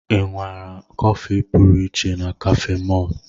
Ị nwara kọfị pụrụ iche na cafe mall?